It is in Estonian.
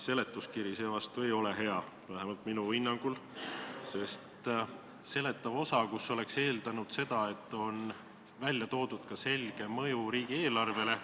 Seletuskiri seevastu ei ole hea, vähemalt minu hinnangul, sest oleks eeldanud, et seletavas osas on välja toodud ka selge mõju riigieelarvele.